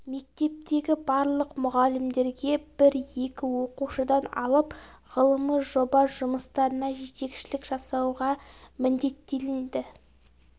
мектептегі барлық мұғалімдерге бір-екі оқушыдан алып ғылыми жоба жұмыстарына жетекшілік жасауға міндеттелінді